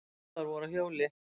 Báðar voru á hjóli.